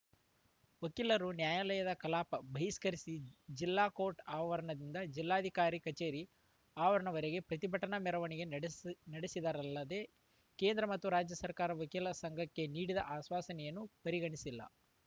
ವಕೀಲರು ನ್ಯಾಯಾಲಯದ ಕಲಾಪ ಬಹಿಷ್ಕರಿಸಿ ಜಿಲ್ಲಾ ಕೋರ್ಟ್‌ ಆವರಣದಿಂದ ಜಿಲ್ಲಾಧಿಕಾರಿ ಕಚೇರಿ ಆವರಣದವರೆಗೆ ಪ್ರತಿಭಟನಾ ಮೆರವಣಿಗೆ ನಡೆಸ್ ನಡೆಸಿದರಲ್ಲದೆ ಕೇಂದ್ರ ಮತ್ತು ರಾಜ್ಯ ಸರ್ಕಾರ ವಕೀಲರ ಸಂಘಕ್ಕೆ ನೀಡಿದ ಆಶ್ವಾಸನೆಯನ್ನು ಪರಿಗಣಿಸಿಲ್ಲ